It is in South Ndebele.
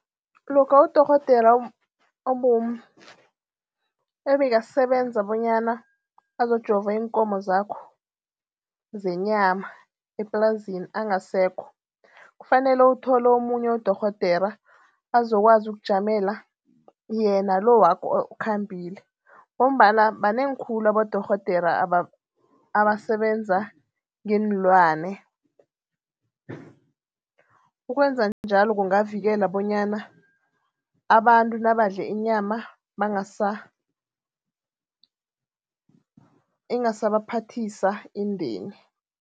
Lokha udorhodera ebekasebenza bonyana azojova iinkomo zakho zenyama eplazini angasekho. Kufanele uthole omunye udorhodera azokwazi ukujamela yena lo wakho okhambileko ngombana banengi khulu abodorhodera abasebenza ngeenlwana. Ukwenza njalo kungavikela bonyana abantu nabadle inyama ingasabaphathisa indeni.